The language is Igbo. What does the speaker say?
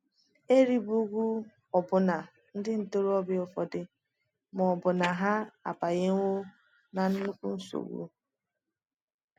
E rigbuwo ọbụna ndị ntorobịa ụfọdụ ma ọ bụ hà abanyewo ná nnukwu nsogbu.